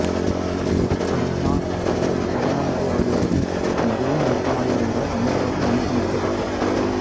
இவர் அண்ணா கலைஞர் கருணாநிதி ஆகியோருடன் மிகவும் நெருக்கமாக இருந்தார் அனைவராலும் நன்கு மதிக்கப்பட்டார்